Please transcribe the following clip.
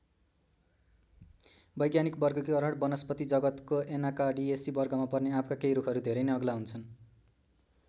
वैज्ञानिक वर्गीकरण वनस्पति जगतको ऐनाकार्डियेसी वर्गमा पर्ने आँपका केही रूखहरू धेरै नै अग्ला हुन्छन्।